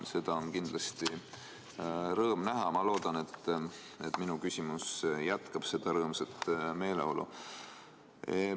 Seda on kindlasti rõõm näha ja ma loodan, et minu küsimus jätkab seda rõõmsat meeleolu.